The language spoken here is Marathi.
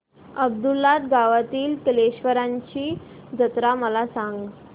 अब्दुललाट गावातील कलेश्वराची जत्रा मला सांग